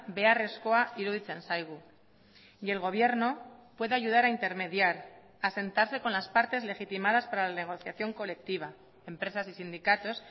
beharrezkoa iruditzen zaigu y el gobierno puede ayudar a intermediar a sentarse con las partes legitimadas para la negociación colectiva empresas y sindicatos